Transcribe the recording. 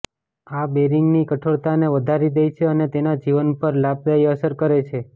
આ બેરિંગની કઠોરતાને વધારી દે છે અને તેના જીવન પર લાભદાયી અસર કરે છે